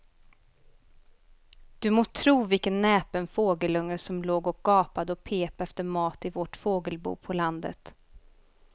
Du må tro vilken näpen fågelunge som låg och gapade och pep efter mat i vårt fågelbo på landet.